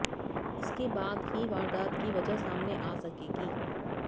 इसके बाद ही वारदात की वजह सामने आ सकेगी